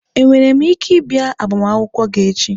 Enwere m ike ịbịa agbamakwụkwọ gị echi?